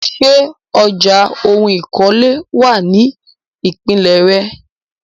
Ṣé ọjà oun ìkọ́lé wà ní ìpínlè re?